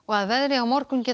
að veðri á morgun geta